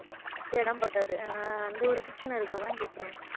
இடம் பத்தாது அஹ் அஹ் அந்த ஒரு பிரச்சனை இருக்கும் அதான் கேட்கிறேன்